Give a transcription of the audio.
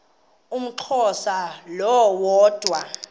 umxhosa lo woda